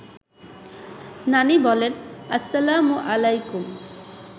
নানি বলেন–আসসালামু আলায়কুম